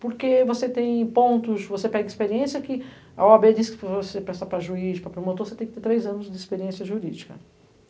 Porque você tem pontos, você pega experiência que a ó á bê diz que para você prestar para juiz, para promotor, você tem que ter três anos de experiência jurídica.